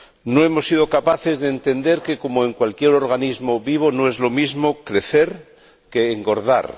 No hemos sido capaces de entender que, como en cualquier organismo vivo, no es lo mismo crecer que engordar.